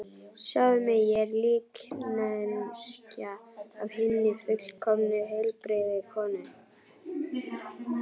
Sjáðu mig, ég er líkneskja af hinni fullkomnu, heilbrigðu konu.